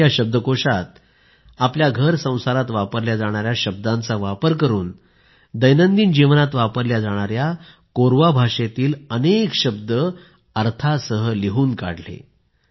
त्यांनी या शब्दकोशात घरसंसारात वापरल्या जाणाऱ्या शब्दांचा वापर करून दैनंदिन जीवनात वापरल्या जाणाऱ्या कोऱवा भाषेतील अनेक शब्द अर्थासह लिहून काढले